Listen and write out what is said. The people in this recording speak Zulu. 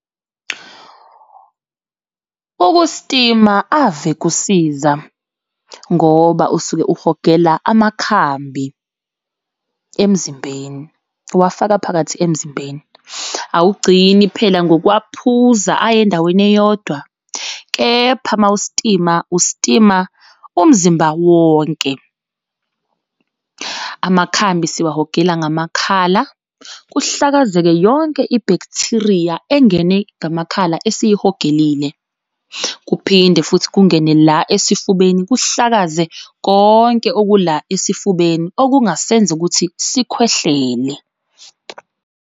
Ukusitima ave kusiza ngoba usuke uhogele amakhambi emzimbeni, uwafaka phakathi emzimbeni. Awugcini phela ngokwawaphuza aye endaweni eyodwa, kepha uma usitima, usitima umzimba wonke. Amakhambi siwahogela ngamakhala, kuhlakazeka yonke i-bacteria engene ngamakhala esiyihogelile. Kuphinde futhi kungene la esifubeni, kuhlakaze konke okula esifubeni okungasenza ukuthi sikhwehlele.